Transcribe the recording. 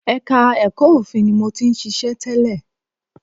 Ẹka ẹ̀kọ́ òfin ni mo ti ṣiṣẹ́ tẹ́lẹ̀.